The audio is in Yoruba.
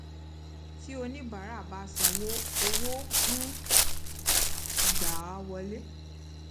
tí oníbàárà bá sanwó owó ń gba wọlé